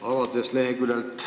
Hea minister!